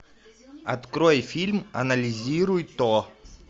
открой фильм анализируй то